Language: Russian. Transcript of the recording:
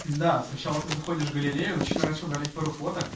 да сначала ты заходишь в галерею начинаешь удалять пару фоток